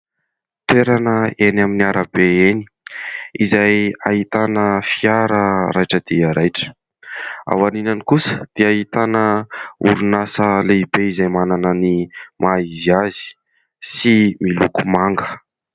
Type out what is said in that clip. Toerana eny amin'ny arabe eny izay ahitana fiara raitra dia raitra ; aorianany kosa dia ahitana orinasa lehibe izay manana ny maha izy azy sy miloko manga.